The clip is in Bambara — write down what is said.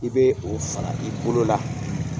I bɛ o fara i bolo la.